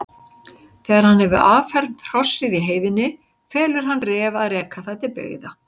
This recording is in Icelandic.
Þegar hann hefur affermt hrossið í heiðinni felur hann Ref að reka það til byggða.